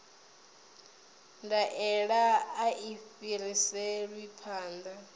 ndaela a i fhiriselwi phanḓa